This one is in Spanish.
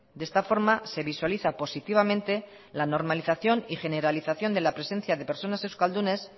de esta forma se visualiza positivamente la normalización y generalización de la presencia de personas euskaldunes